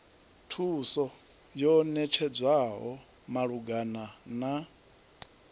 thuso yo ṋetshedzwaho malugana na